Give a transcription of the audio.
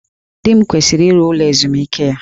Di m kwesịrị ire ụlọ ezumike ya